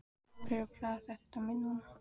Af hverju plagar þetta mig núna?